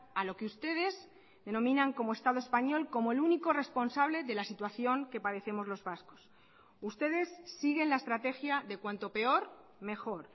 a lo que ustedes denominan como estado español como el único responsable de la situación que padecemos los vascos ustedes siguen la estrategia de cuanto peor mejor